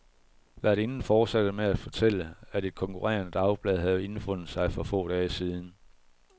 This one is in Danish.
Værtinden fortsatte med at fortælle, at et konkurrerende dagblad havde indfundet sig for få dage siden.